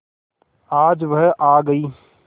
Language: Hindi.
आज वह आ गई